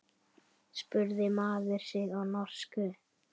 spurði maður sig á norsku.